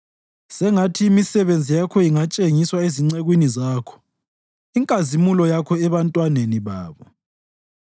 Sengathi imisebenzi yakho ingatshengiswa ezincekwini zakho, inkazimulo yakho ebantwaneni babo.